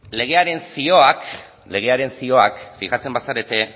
legearen zioak fijatzen bazarete